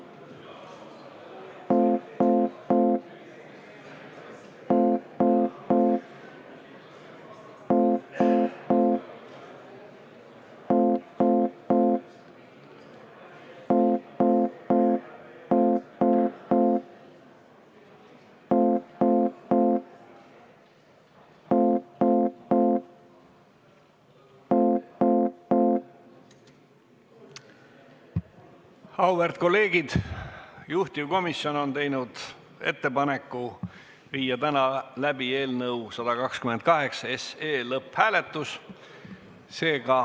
Juhtivkomisjon on teinud ettepaneku viia täna läbi eelnõu 128 lõpphääletus.